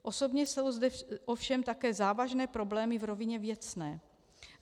Obdobně jsou zde ovšem také závažné problémy v rovině věcné.